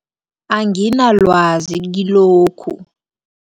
Anginalwazi kilokhu.